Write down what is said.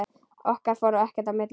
Okkar fór ekkert í milli.